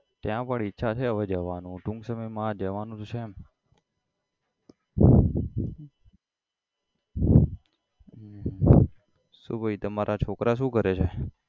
ત્યા પણ ઈચ્છા છે હવે જવાનું ટૂંક સમય માં જવાનું તો છે શુ ભાઈ તમારા છોકરા શુ કરે છે?